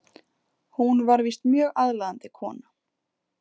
Hún var víst mjög aðlaðandi kona.